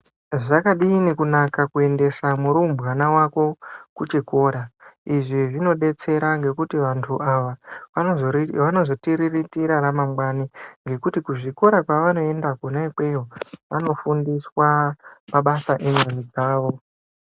Zvakadini kunaka kuendesa murumbwana wako kuchikora izvi zvinodetsera ngekuti antu awa wanozotiriritira ramangwani ngekuti kuzvikora kwavanoenda kona ikweyo vanofundiswa mabasa emhuri dzawo.